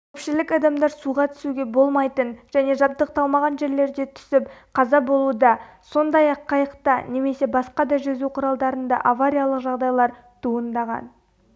көпшілік адамдар суға түсуге болмайтын және жабдықталмаған жерлерде түсіп қаза болуда сондай-ақ қайықта немесе басқа да жүзу құралдарында авариялық жағдайлар туындаған